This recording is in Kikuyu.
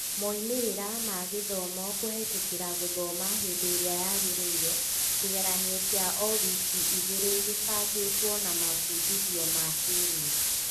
moimĩrĩra ma gĩthomo kũhetũkĩra gũthoma hĩndĩrĩa yagĩrĩire, kĩgeranio kĩa o-wiki igĩrĩ gĩbangĩtwo na mabundithio ma kĩĩrĩu